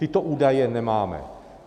Tyto údaje nemáme.